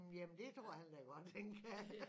Jamen det tror han da godt han kan